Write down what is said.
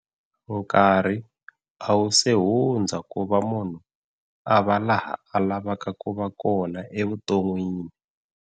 Nkarhi a wu se hundza ku va munhu a va laha a lavaka ku va kona evuton'wini.